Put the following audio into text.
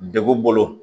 Degun bolo